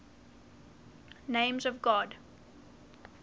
names of god